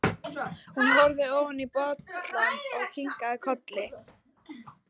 Hún horfði ofan í bollann og kinkaði kolli.